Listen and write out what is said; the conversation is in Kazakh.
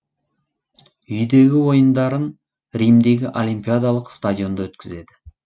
үйдегі ойындарын римдегі олимпиадалық стадионда өткізеді